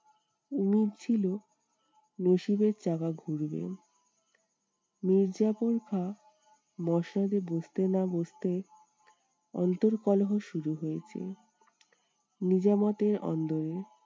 মনে হচ্ছিলো নসীবের চাকা ঘুরবে। মীরজাফর খাঁ মসনদে বসতে না বসতেই অন্তর্কলহ শুরু হয়েছে নিজামতের অন্দরে।